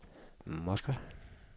Moskva